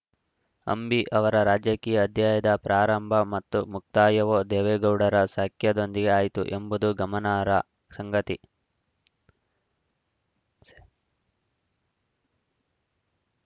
ಅಂಬಿ ಅವರ ರಾಜಕೀಯ ಅಧ್ಯಾಯದ ಪ್ರಾರಂಭ ಮತ್ತು ಮುಕ್ತಾಯವೂ ದೇವೇಗೌಡರ ಸಖ್ಯದೊಂದಿಗೆ ಆಯಿತು ಎಂಬುದು ಗಮನಾರ್ಹ ಸಂಗತಿ